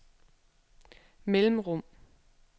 mellemrum